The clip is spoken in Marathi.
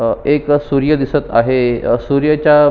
एक सूर्य दिसत आहे अ सूर्याच्या--